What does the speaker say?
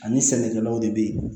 Ani sɛnɛkɛlaw de be yen